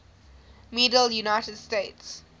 medal united states